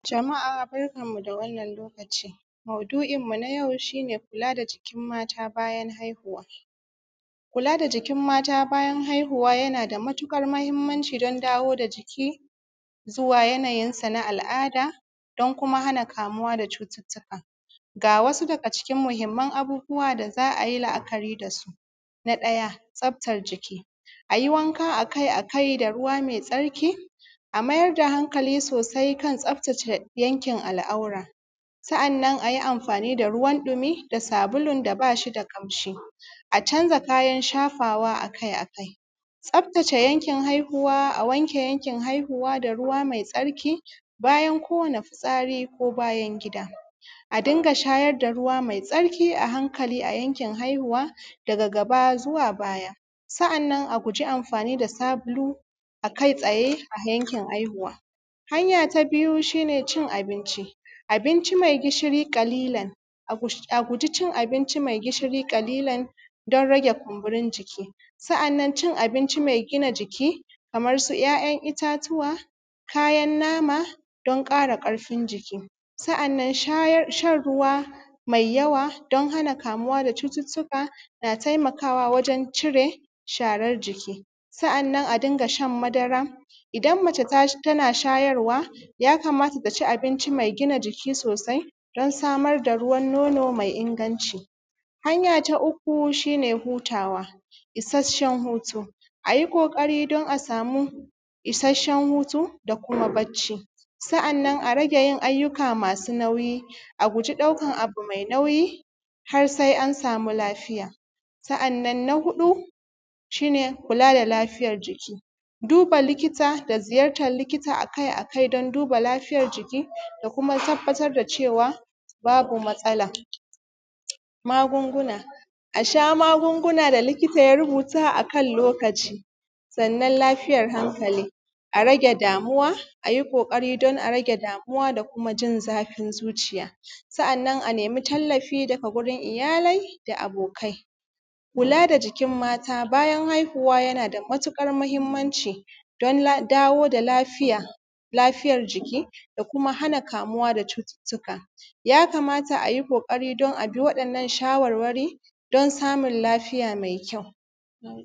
jama'a barkan mu da wannan lokaci maudu'in mu na yau shine kula da jikin mata bayan haihuwa kula da jikin mata bayan haihuwa yana da matuƙar muhimmanci ɗan dawo da jiki zuwa yanayinsa na al’ada don kuma hana kamuwa da cututtuka ga wasu daga cikin muhimmin abubbuwa da za ai la'akari da su na ɗaya tsaftar jiki a yi wanka a kai a kai da ruwa maitsarki a mayar da hankali sosai kan tsaftace yankin al’aura sa’annan a yi amfani da ruwan ɗumi da sabulun da ba shi da ƙanshi a canza kayan shafawa a kai a kai tsaftace yankin haihuwa a wanke yankin haihuwa da ruwa maitsarki bayan kowane fitsari ko bayan gida a dinga shayar da ruwa maitsarki a hankali a yankin haihuwa daga gaba zuwa baya sa'annan a guji amfani da sabulu a kai tsaye a yankin haihuwa hanya ta biyu shine cin abinci abinci mai gishiri ƙalilan a guji cin abinci mai gishiri ƙalilan don rage kumburin jiki sa'annan cin abinci mai gina jiki kaman suʤ ‘ya’yan itatuwa kayan nama don ƙara ƙarfin jiki sa'annan shan ruwa mai yawa don hana kamuwa da cututtuka na taimakawa wajen cire sharar jiki sa'annan a dinga shan madara idan mace tana shayarwa ya kamata ta ci abinci mai gina jiki sosai don samar da ruwan nono mai inganci hanya ta uku shine hutawa ishashshen hutu a yi ƙoƙari don a samu ishashshen hutu da kuma bacci sa'annan a rage yin ayyuka masu nauyi a guji ɗaukan abu mai nauyi har sai an samu lafiya sa'annan na huɗu shine kula da lafiyar jiki duba likita da ziyartar likiƙta a kai a kai don duba lafiyar jiki da kuma tabbatar da cewa babu matsala magunguna a sha magunguna da likita ya rubuta a kan lokaci sannan lafiyar hankali a rage damuwa a yi ƙoƙari don a rage damuwa don da kuma jin zafin zuciya sa'annan a nemi tallafi daga gurin iyalai da abokai kula da jikin mata bayan haihuwa yana da matuƙar muhimmanci don dawo da lafiyar lafiyar jiki da kuma hana kamuwa da cututtuka ya kamata a yi ƙoƙari don a bi waɗannan shawarwari don samun lafiya mai kyau